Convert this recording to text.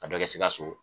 A bɛ kɛ sikaso